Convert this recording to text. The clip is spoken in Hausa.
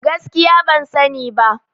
Gaskiya ban sani ba